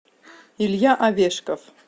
илья овешков